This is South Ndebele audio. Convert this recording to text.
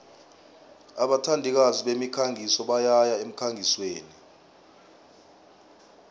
abathandikazi bemikhangiso bayaya emkhangisweni